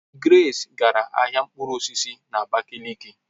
Grace gara ahia mkpụrụ osisi na Abakaliki